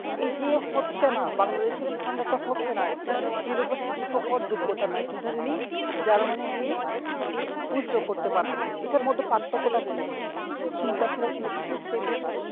এই যে হচ্ছে না Bangladesh এর স্থানে ইটা হচ্ছে না একটা University র শিক্ষক হওয়ার যজ্ঞতরা নাই কিন্তু উনি German এ গিয়ে push-dog করতে পারতেছে এটার মধ্যে পার্থক্য তা কোথায় চিন্তা ছিল কি না system এ